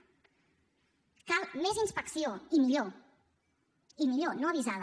cal més inspecció i millor i millor no avisada